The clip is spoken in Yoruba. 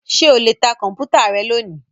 Ṣé o lè ta Kọ̀m̀pútà rẹ lónìí?